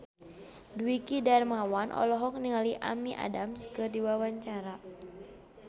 Dwiki Darmawan olohok ningali Amy Adams keur diwawancara